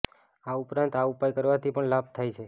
આ ઉપરાંત આ ઉપાય કરવાથી પણ લાભ થાય છે